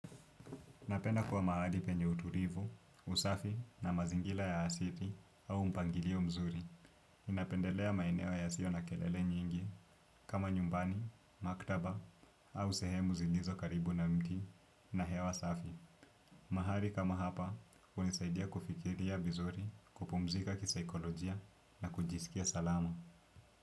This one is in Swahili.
Napenda kuwa mahali penye utulivu, usafi na mazingira ya asili au mpangilio mzuri. Napendelea maeneo yasio na kelele nyingi kama nyumbani, maktaba au sehemu zilizo karibu na mti na hewa safi. Mahali kama hapa, hunisaidia kufikiria vizuri kupumzika kisaikolojia na kujisikia salama.